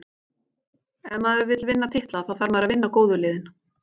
Ef maður vill vinna titla, þá þarf maður að vinna góðu liðin.